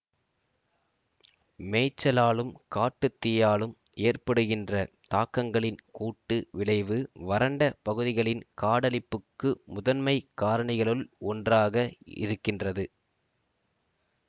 மேய்ச்சலாலும் காட்டு தீயாலும் ஏற்படுகின்ற தாக்கங்களின் கூட்டு விளைவு வறண்ட பகுதிகளின் காடழிப்புக்கு முதன்மைக் காரணிகளுள் ஒன்றாக இருக்கின்றது